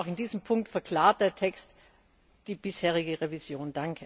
Auch in diesem Punkt verklart der Text die bisherige Revision.